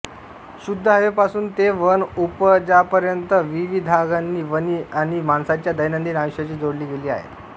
शुद्ध हवेपासून ते वन उपजांपर्यंत विविधांगांनी वने ही माणसाच्या दैनंदिन आयुष्याशी जोडली गेली आहेत